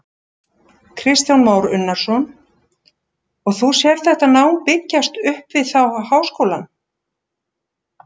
Kristján Már Unnarsson: Og þú sérð þetta nám byggjast upp við þá háskólann?